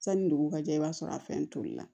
Sanni dugu ka jɛ i b'a sɔrɔ a fɛn tolila